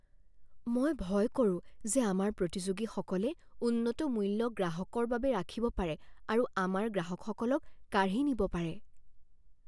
মই ভয় কৰো যে আমাৰ প্ৰতিযোগীসকলে উন্নত মূল্য গ্ৰাহকৰ বাবে ৰাখিব পাৰে আৰু আমাৰ গ্ৰাহকসকলক কাঢ়ি নিব পাৰে।